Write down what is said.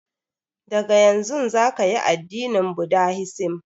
Daga yanzun zaka yi addinin budahisim